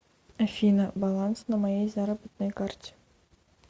афина баланс на моей заработной карте